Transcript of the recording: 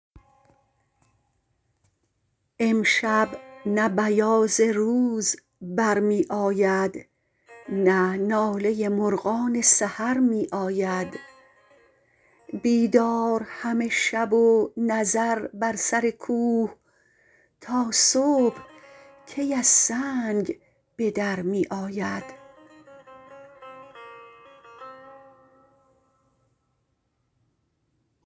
امشب نه بیاض روز برمی آید نه ناله مرغان سحر می آید بیدار همه شب و نظر بر سر کوه تا صبح کی از سنگ به در می آید